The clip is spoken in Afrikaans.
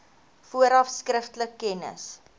vooraf skriftelik kennis